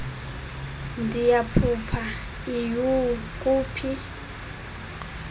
ndiyaphupha iyhu kuphi